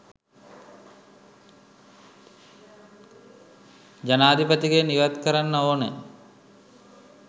ජනාධිපතිගෙන් ඉවත් කරන්න ඕන